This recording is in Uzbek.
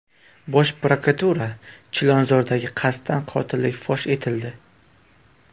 Bosh prokuratura: Chilonzordagi qasddan qotillik fosh etildi.